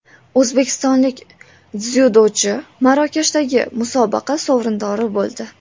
O‘zbekistonlik dzyudochi Marokashdagi musobaqa sovrindori bo‘ldi.